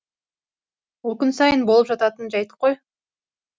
ол күн сайын болып жататын жәйт қой